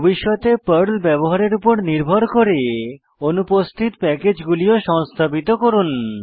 ভবিষ্যতে পর্ল ব্যবহারের উপর নির্ভর করে অনুপস্থিত প্যাকেজ গুলি সংস্থাপিত করুন